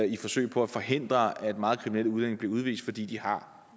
i et forsøg på at forhindre at meget kriminelle udlændinge bliver udvist fordi de har